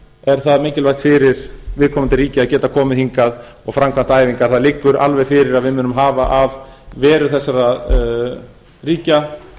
er það mikilvægt fyrir viðkomandi ríki að geta komið hingað og framkvæmt æfingar það liggur alveg fyrir að við munum hafa af veru þessara ríkja